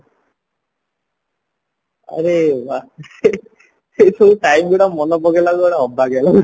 ଆରେ ସେଇ ସବୁ time ଗୁଡା ମାନେ ପକେଇଲାବେଳକୁ ଗୋଟେ ଅବାଗିଆ ଲାଗୁଚି